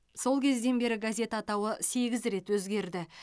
сол кезден бері газет атауы сегіз рет өзгерді